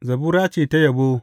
Zabura ce ta yabo.